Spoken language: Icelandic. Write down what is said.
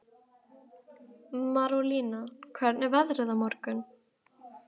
Marólína, hvernig er veðrið á morgun?